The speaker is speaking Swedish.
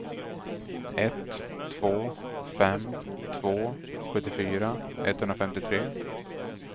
ett två fem två sjuttiofyra etthundrafemtiotre